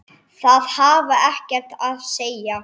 Það hafði ekkert að segja.